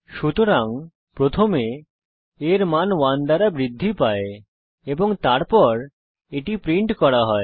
সুতরাং প্রথমে a এর মান 1 দ্বারা বৃদ্ধি পায় এবং তারপর এটি প্রিন্ট করা হয়